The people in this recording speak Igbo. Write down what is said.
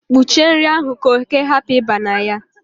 kpuchie nri ahụ ka oke hapu iba na ya